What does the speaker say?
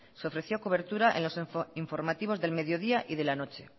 se ofreció cobertura en los informativos del mediodía y de la noche